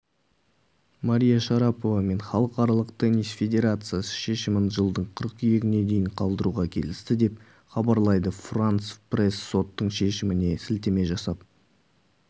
мария шарапова мен халықаралық теннис федерациясы шешімін жылдың қыркүйегіне дейін қалдыруға келісті деп хабарлайды франс пресс соттың шешіміне сілтеме жасап